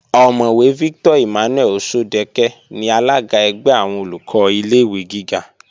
Ọ̀mọ̀wẹ̀ Victor Emmanuel Òṣọ́dẹkẹ́ ni alága ẹgbẹ́ àwọn Olùkọ́ ilé-ìwé gíga